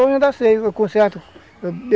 conserto